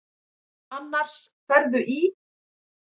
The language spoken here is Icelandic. Annars ferðu í.